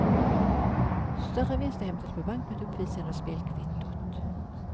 Större vinster hämtas på bank mot uppvisande av spelkvittot.